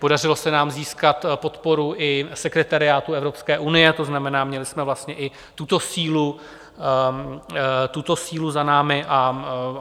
Podařilo se nám získat i podporu sekretariátu Evropské unie, to znamená, měli jsme vlastně i tuto sílu za námi.